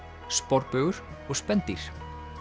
sporbaugur og spendýr